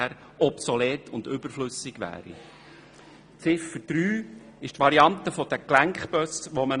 Ziffer 3 des Rückweisungsantrags äussert sich zur nochmals zu prüfenden Variante der Gelenkbusse.